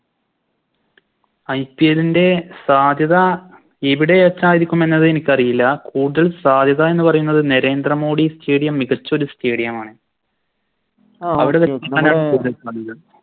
IPL ൻറെ സാധ്യത എവിടെ വെച്ചരിക്കും എന്നത് എനിക്കറിയില്ല കൂടുതൽ സാധ്യത എന്ന് പറയുന്നത് നരേന്ദ്രമോഡി Stadium മികച്ചൊരു Stadium ആണ്